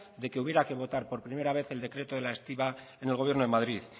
de que hubiera que votar por primera vez el decreto de la estiba en el gobierno de madrid